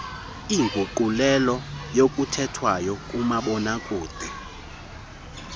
inguqulelo yokuthethwayo kumabonakude